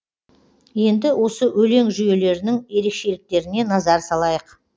енді осы өлең жүйелерінің ерекшеліктеріне назар салайық